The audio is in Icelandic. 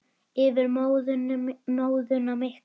Yfir móðuna miklu.